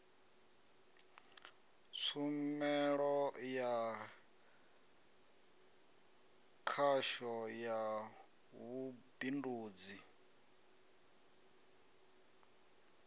tshumelo ya khasho ya vhubindudzi